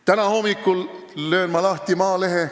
Täna hommikul lõin ma lahti Maalehe.